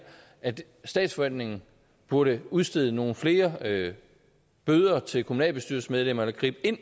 at statsforvaltningen burde udstede nogle flere bøder til kommunalbestyrelsesmedlemmerne gribe